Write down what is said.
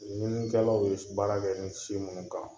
Ɲininikɛlaw ye baara kɛ ni si minnu kan